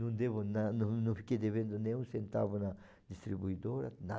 Não devo nada, não não fiquei devendo nenhum centavo na distribuidora, nada.